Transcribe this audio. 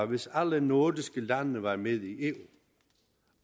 hvis alle nordiske lande var med i eu